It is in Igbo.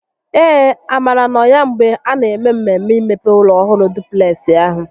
Ee, Amara nọ ya mgbe a na eme mmemme imepe ụlọ ọhụrụ dupleksị ahụ